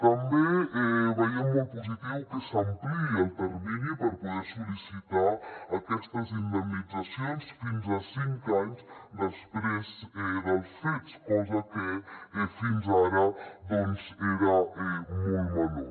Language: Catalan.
també veiem molt positiu que s’ampliï el termini per poder sol·licitar aquestes indemnitzacions fins a cinc anys després dels fets cosa que fins ara doncs era molt menor